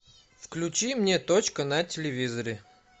включи мне точка на телевизоре